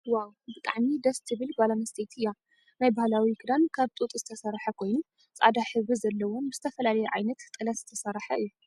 ዋው ብጣዕሚ ደስትብ ጎል ኣንስትየቲ እያ ። ናይ ባህላዊ ክዳን ካብ ጡጥ ዝተሰረሐ ኮይኑ ፃዕዳ ሕብሪ ዘለዎን ብዝተፈላለየ ዓይነት ጥለት ዝተሰረሐ እዩ።